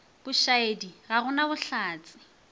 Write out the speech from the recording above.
bošaedi ga go na bohlatse